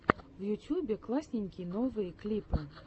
в ютюбе классненький новые клипы